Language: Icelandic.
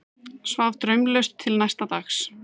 Svaf draumlaust til næsta dags.